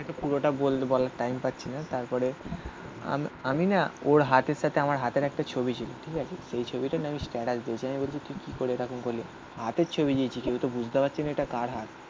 তো পুরোটা বলার টাইম পাচ্ছি না. তারপরে আমি না ওর হাতের সাথে আমার হাতের একটা ছবি ছিল. ঠিক আছে. সেই ছবিটা নিয়ে আমি স্ট্যাটাস পেয়েছি. আমি বলছি তুই কি করে এরম করলি হাতের ছবি দিয়েছি. কেউ তো বুঝতে পারছে না এটা কার হাত?